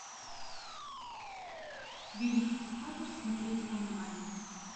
великий диктатор смотреть онлайн